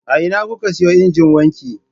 A ina kuka siyo injin wanki?